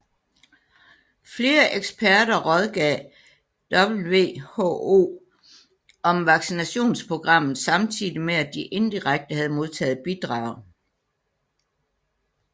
Flere eksperter rådgav WHO om vaccinationsprogrammet samtidig med at de indirekte havde modtaget bidrag